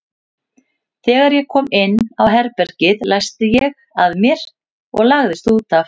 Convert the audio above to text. Þegar ég kom inn á herbergið læsti ég að mér og lagðist út af.